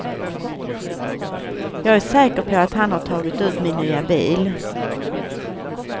Jag är säker på att han har tagit ut min nya bil.